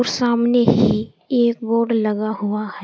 सामने ही एक बोर्ड लगा हुआ है।